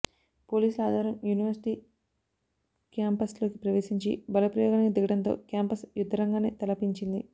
పోలీసులు ఆదివారం యూనివర్శిటి క్యాంపస్లోకి ప్రవేశించి బలప్రయోగానికి దిగడంతో క్యాంపస్ యుద్ధరంగాన్ని తలపించింది